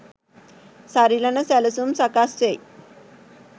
සරිලන සැලසුම් සකස් වෙයි